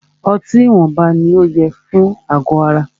Ọtí ìwọnba ní o yẹ fún àgọ ara.